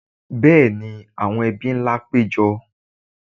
Bẹ́ẹ̀ni, àwọn ebí ńlá ti pé jọ